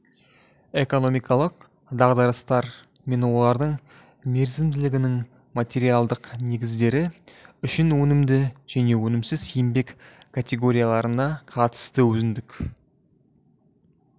экономикалық дағдарыстар мен олардың мерзімділігінің материалдық негіздері үшін өнімді және өнімсіз еңбек категорияларына қатысты өзіндік